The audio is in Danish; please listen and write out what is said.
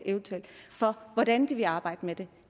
for hvordan de vil arbejde med det